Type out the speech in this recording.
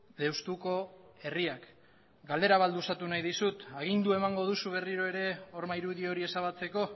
deustuko herriak galdera bat luzatu nahi dizut agindua emango duzu berriro ere horma irudi hori ezabatzeko